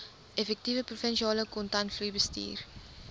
effektiewe provinsiale kontantvloeibestuur